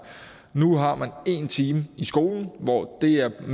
nu har man en time i skolen mere end